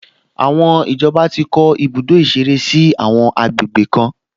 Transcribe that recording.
Àwọn ìjọba ti kọ́ ibùdó ìṣeré sí àwọn àgbègbè kan